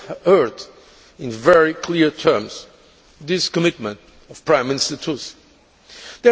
We just heard in very clear terms this commitment of Prime Minister Tusk.